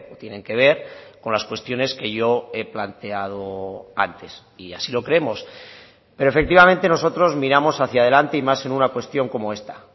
tienen que ver con las cuestiones que yo he planteado antes y así lo creemos pero efectivamente nosotros miramos hacia delante y más en una cuestión como esta